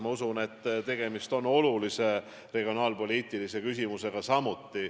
Minagi usun, et tegemist on olulise regionaalpoliitilise küsimusega.